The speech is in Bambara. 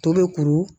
To bɛ kuru